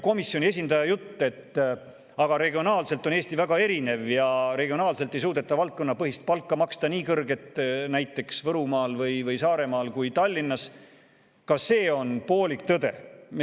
Komisjoni esindaja jutt, et regiooniti on Eesti väga erinev ja näiteks Võrumaal või Saaremaal ei suudeta nii kõrget valdkonnapõhist palka maksta kui Tallinnas – see on poolik tõde.